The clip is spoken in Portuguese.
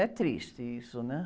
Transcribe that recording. É triste isso, né?